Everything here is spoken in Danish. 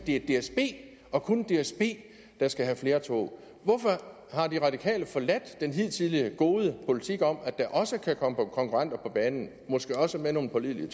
det er dsb og kun dsb der skal have flere tog hvorfor har de radikale forladt den hidtidige gode politik om at der også kan komme konkurrenter på banen måske også med nogle pålidelige